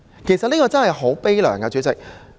其實這真的很可悲，代理主席。